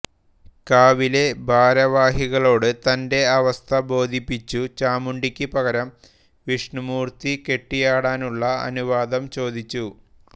കാവിലെ ഭാരവാഹികളോട് തൻറെ അവസ്ഥ ബോധിപ്പിച്ചു ചാമുണ്ടിക്ക് പകരം വിഷ്ണുമൂർത്തി കെട്ടിയാടാനുള്ള അനുവാദം ചോദിച്ചു